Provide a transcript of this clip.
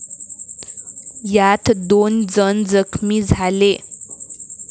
यात दोन जण जखमी झाले.